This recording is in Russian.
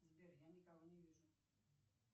сбер я никого не вижу